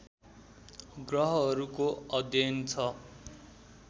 ग्रहहरूको अध्ययन छ